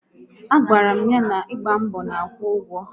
A gwara m ya na ịgba mbọ na-akwụ ụgwọ